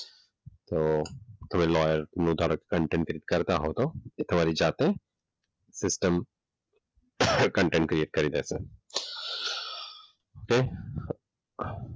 તો તમે લોયરનો નું કન્ટેન્ટ કરતા હો તો તમારી જાતે સિસ્ટમ કન્ટેન્ટ ક્રિએટ કરી દેશે.